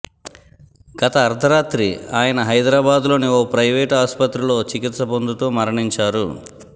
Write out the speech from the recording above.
గత అర్థరాత్రి ఆయన హైదరాబాద్లోని ఓ ప్రయివేట్ ఆస్పత్రిలో చికిత్స పొందుతూ మరణించారు